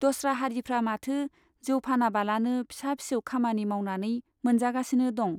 दस्रा हारिफ्रा माथो जौ फानाबालानो फिसा फिसौ खामानि मावनानै मोनजागासिनो दं ?